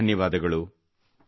ಅನಂತ ಧನ್ಯವಾದಗಳು